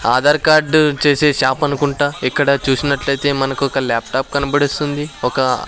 Aadhaar card చేసే shop అనుకుంటా ఇక్కడ చూసినట్లైతే మనకు ఒక ల్యాప్ టాప్ కనబడిస్తుంది ఒక--